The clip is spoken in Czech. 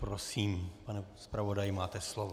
Prosím, pane zpravodaji, máte slovo.